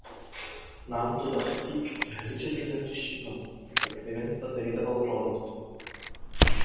нам туда ходить категорически запрещено откровенно позавидовал рон